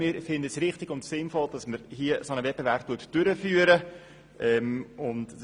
Wir finden es richtig und sinnvoll, dass ein Wettbewerb durchgeführt wird.